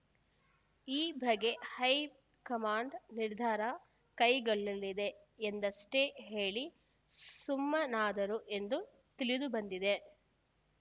ಈ ಬಗ್ಗೆ ಹೈಕಮಾಂಡ್‌ ನಿರ್ಧಾರ ಕೈಗೊಳ್ಳಲಿದೆ ಎಂದಷ್ಟೇ ಹೇಳಿ ಸುಮ್ಮನಾದರು ಎಂದು ತಿಳಿದುಬಂದಿದೆ